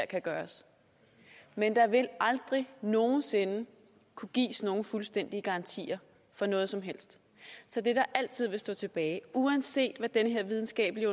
kan gøres men der vil aldrig nogen sinde kunne gives nogen fuldstændige garantier for noget som helst så det der altid vil stå tilbage uanset hvad den her videnskabelige